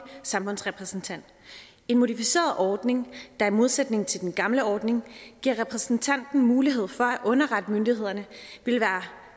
samfundsrepræsentant en modificeret ordning der i modsætning til den gamle ordning giver repræsentanten mulighed for at underrette myndighederne vil være